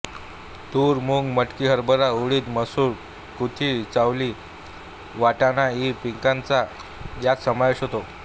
तूर मूग मटकी हरभरा उडीद मसूर कुळीथ चवली वाटाणा इ पिकांचा यात समावेश होतो